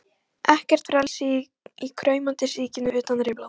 Ekkert frelsi í kraumandi síkinu utan rimlanna.